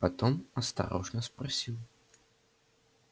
потом осторожно спросил